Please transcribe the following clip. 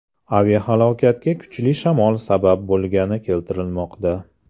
Aviahalokatga kuchli shamol sabab bo‘lgani keltirilmoqda.